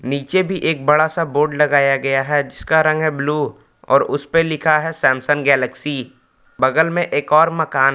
नीचे भी एक बड़ा बोर्ड लगाया गया हैं जिसका रंग है ब्लू और उस पर लिखा है सैमसंग गैलेक्सी बगल में एक और मकान है।